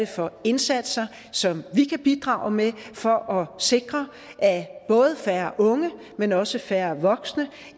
for indsatser som vi kan bidrage med for at sikre at både færre unge men også færre voksne